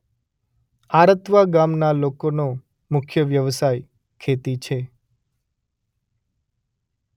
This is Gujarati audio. આરતવા ગામના લોકોનો મુખ્ય વ્યવસાય ખેતી છે.